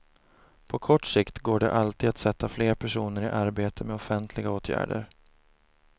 På kort sikt går det alltid att sätta fler personer i arbete med offentliga åtgärder.